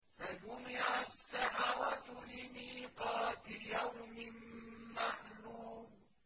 فَجُمِعَ السَّحَرَةُ لِمِيقَاتِ يَوْمٍ مَّعْلُومٍ